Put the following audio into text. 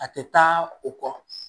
A tɛ taa o kɔ